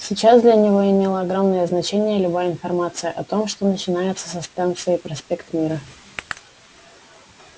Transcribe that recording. сейчас для него имела огромное значение любая информация о том что начинается за станцией проспект мира